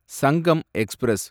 Sangam express